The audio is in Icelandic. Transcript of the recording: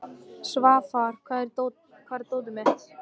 Svafar, hvar er dótið mitt?